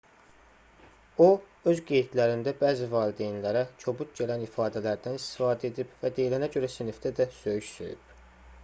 o öz qeydlərində bəzi valideynlərə kobud gələn ifadələrdən istifadə edib və deyilənə görə sinifdə də söyüş söyüb